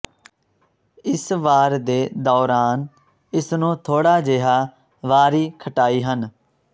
ਇਸ ਵਾਰ ਦੇ ਦੌਰਾਨ ਇਸ ਨੂੰ ਥੋੜਾ ਜਿਹਾ ਵਾਰੀ ਖਟਾਈ ਹਨ